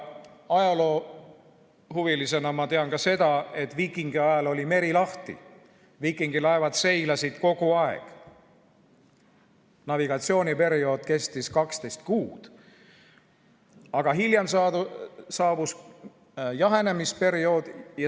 Ajaloohuvilisena tean ma ka seda, et viikingiajal oli meri lahti, viikingilaevad seilasid kogu aeg, navigatsiooniperiood kestis 12 kuud, aga hiljem saabus jahenemisperiood.